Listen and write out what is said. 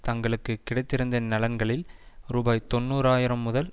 தங்களுக்கு கிடைத்திருந்த நலன்களில் ரூபாய் தொன்னூறு ஆயிரம் முதல்